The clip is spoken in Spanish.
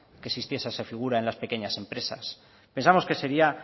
que existiese esa figura en las pequeñas empresas pensamos que sería